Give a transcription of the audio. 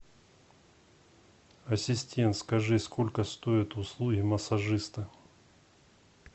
ассистент скажи сколько стоят услуги массажиста